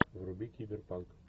вруби киберпанк